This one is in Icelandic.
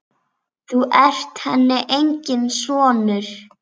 Þú ert henni enginn sonur.